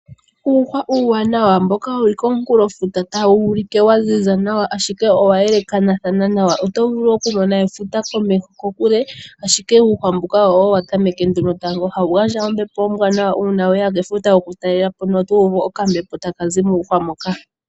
Uuhwa uuwanawa mboka wu li komunkulofuta tawu ulike wa ziza nawa, ashike owa elekana nawa. Oto vulu okumona efuta kokule, ashike uuhwa mbuka owo nduno wa tameke tango. Ohawu gandja ombepo ombwanawa uuna we ya kefuta okutalela po noto uvu okambepo taka zi muuhwa mboka.